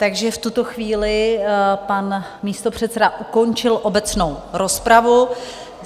Takže v tuto chvíli pan místopředseda ukončil obecnou rozpravu.